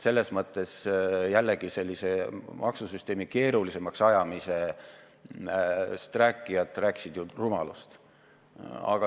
Selles mõttes rääkisid maksusüsteemi keerulisemaks ajamisest rääkijad rumalust.